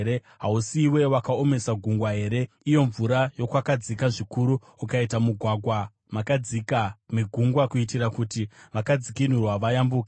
Hausiwe wakaomesa gungwa here, iyo mvura yokwakadzika zvikuru, ukaita mugwagwa makadzika megungwa kuitira kuti vakadzikinurwa vayambuke?